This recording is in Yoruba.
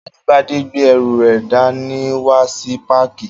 Ajíbádé gbé ẹrù rẹ̀ dá ní wá sí páàkì